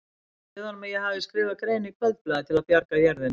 Segðu honum að ég hafi skrifað grein í Kvöldblaðið til að bjarga jörðinni.